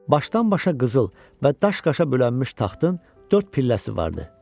Başdan-başa qızıl və daş-qaşa bölünmüş taxtın dörd pilləsi vardı.